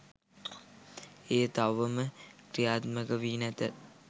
එය තවම ක්‍රියාත්මක වී නැත